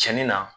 Cɛnni na